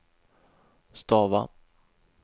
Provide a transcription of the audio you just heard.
stava